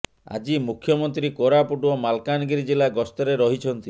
ଆଜି ମୁଖ୍ୟମନ୍ତ୍ରୀ କୋରାପୁଟ ଓ ମାଲକାନଗିରି ଜିଲ୍ଲା ଗସ୍ତରେ ରହିଛନ୍ତି